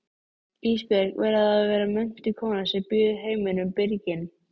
Ísbjörg verður að vera menntuð kona sem býður heiminum byrginn.